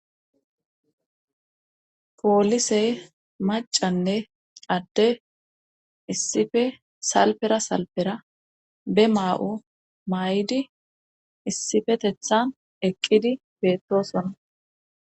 Poolise macanne adde issife salpera salpera be maa'o maa'idi issifetethan eqqidi beettosonna.